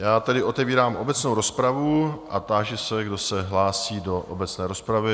Já tedy otevírám obecnou rozpravu a táži se, kdo se hlásí do obecné rozpravy?